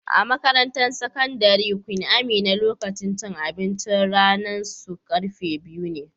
A'makarantan sakandaren Queen Amina, lokacin cin abincin ranan su karfe biyu ne.